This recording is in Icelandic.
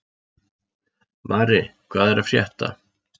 Mari, hvað er að frétta?